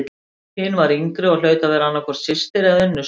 Hin var yngri og hlaut að vera annað hvort systir eða unnusta.